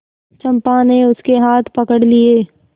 चंपा ने उसके हाथ पकड़ लिए